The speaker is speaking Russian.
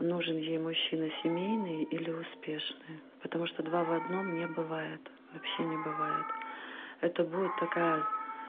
нужен ей мужчина семейный или успешный потому что два в одном не бывает вообще не бывает это будет такая